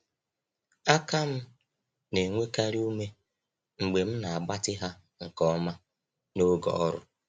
Aka m na-enwekarị ume mgbe m na-agbatị ha nke ọma n’oge ọrụ.